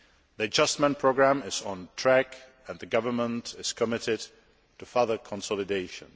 The adjustment programme is on track and the government is committed to further consolidation.